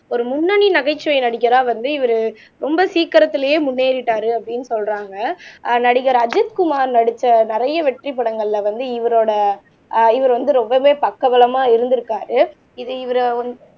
ஒரு முன்னணி நகைச்சுவை நடிகரா வந்து இவரு ரொம்ப சீக்கிரத்திலேயே முன்னேறிட்டாரு அப்படின்னு சொல்றாங்க ஆஹ் நடிகர் அஜித்குமார் நடிச்ச நிறைய வெற்றி படங்கள்ல வந்து இவரோட ஆஹ் இவர் வந்து ரொம்பவே பக்கபலமா இருந்திருக்காரு இது இவரை